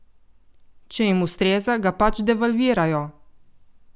Če jim ustreza, ga pač devalvirajo!